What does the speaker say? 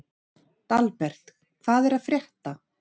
Dalbert, hvað er að frétta?